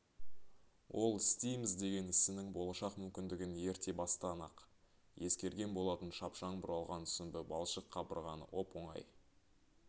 ол істейміз деген ісінің болашақ мүмкіндігін ерте бастан-ақ ескерген болатын шапшаң бұралған сүмбі балшық қабырғаны оп-оңай